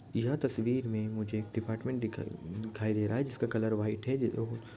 यह तस्वीर मैं मुझे एक डिपार्टमेंट दिख दिखाई दे रहा है जिसका कलर व्हाइट ह।